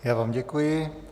Já vám děkuji.